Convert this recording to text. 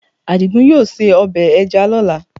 Àdìgún yóò se ọbẹ̀ ẹja lọ́la